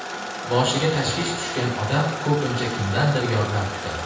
Boshiga tashvish tushgan odam ko‘pincha kimdandir yordam kutadi.